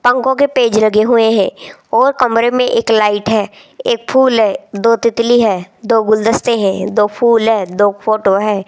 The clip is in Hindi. पंखों के पेज लगे हुए हैं और कमरे में एक लाइट है एक फूल है दो तितली है दो गुलदस्ते हैं दो फूल है दो फोटो है।